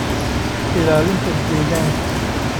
ilaalinta deegaanka.